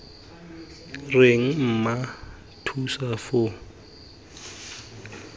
reng mma thusa foo tlhe